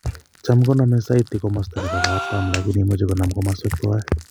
Tam konome saiti komosto nebo katam lakini imuche konam kamswek tuwan